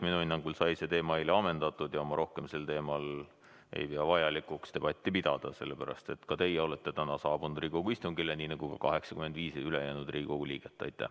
Minu hinnangul sai see teema eile ammendatud ja ma rohkem sel teemal ei pea vajalikuks debatti pidada, sellepärast et ka teie olete täna saabunud Riigikogu istungile, nii nagu ka 85 ülejäänud Riigikogu liiget.